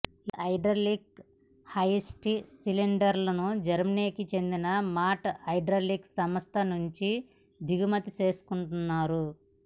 ఈ hydraulic hoist సిలిండర్లను జర్మనీకి చెందిన మాంట్ హైడ్రాలిక్ సంస్థ నుంచి దిగుమతి చేసుకున్నారు